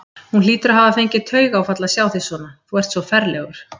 Hún hlýtur að hafa fengið taugaáfall að sjá þig svona, þú ert svo ferlegur!